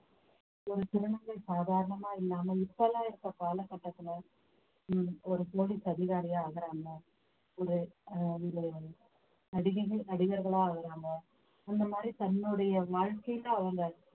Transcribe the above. ஒரு திருநங்கை சாதாரணமா இல்லாமல் இப்ப எல்லாம் இருக்கிற கால கட்டத்துல உம் ஒரு police அதிகாரியா ஆகுறாங்க ஒரு அஹ் வந்து நடிகைகள் நடிகர்களா ஆகுறாங்க அந்த மாதிரி தன்னுடைய வாழ்க்கையில அவங்க